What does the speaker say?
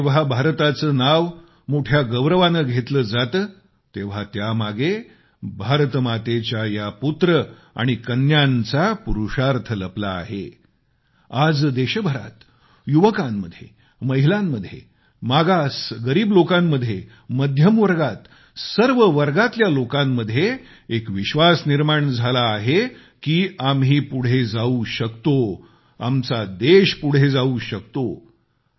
आज जेंव्हा भारताचे नाव मोठ्या गौरवाने घेतले जाते तेव्हा त्यामागे भारतमातेच्या या पुत्र आणि कन्यांचा पुरुषार्थ लपला आहे आज देशभरात युवकांमध्ये महिलांमध्ये मागास गरीब लोकांमध्ये मध्यमवर्गात सर्व वर्गातल्या लोकांमध्ये एक विश्वास निर्माण झाला आहे की आम्ही पुढे जाऊ शकतो आमचा देश पुढे जाऊ शकतो